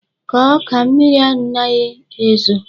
Kọọ ọka! Mmiri anaghi ezo.